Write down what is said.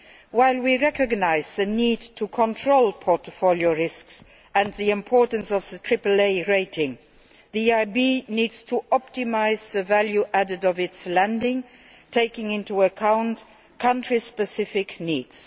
While we recognise the need to control portfolio risks and the importance of the triple A rating, the EIB needs to optimise the value added of its lending, taking into account country specific needs.